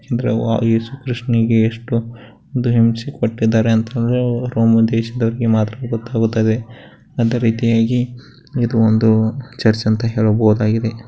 ಯೇಸು ಕೃಷ್ಣನಿಗೆ ಎಷ್ಟು ಒಂದ ಹಿಂಸೆ ಕೊಟ್ಟಿದ್ದಾರೆ ಅಂತ ಅಂದ್ರೆ ರೋಮ ದೇಶದವರಿಗೆ ಮಾತ್ರ ಗೊತ್ತಿದೆ ಅದೇರೀತಿಯಾಗಿ ಇದು ಒಂದು ಚರ್ಚ್ ಅಂತ ಹೇಳಬಹುದಾಗಿದೆ.